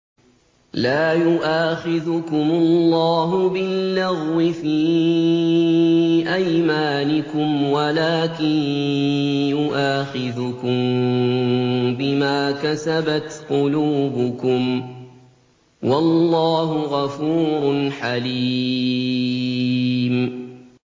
لَّا يُؤَاخِذُكُمُ اللَّهُ بِاللَّغْوِ فِي أَيْمَانِكُمْ وَلَٰكِن يُؤَاخِذُكُم بِمَا كَسَبَتْ قُلُوبُكُمْ ۗ وَاللَّهُ غَفُورٌ حَلِيمٌ